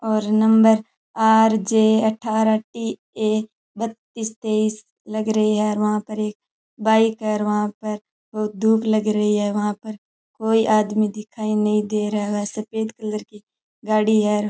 और number R J अठारह T A बत्तीस तेईस लग रही है और वहां पर एक बाइक है और वहां पर धूप लग रही है वहां पर कोई आदमी दिखाई नही दे रहा है सफेद कलर की गाड़ी है।